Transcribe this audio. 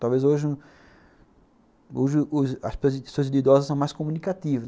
Talvez hoje... Hoje, as as de idosos são mais comunicativas.